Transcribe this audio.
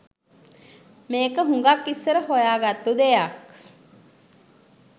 මේක හුගක් ඉස්සර හොයාගත්තු දෙයක්